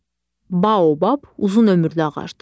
Baobab uzun ömürlü ağacdır.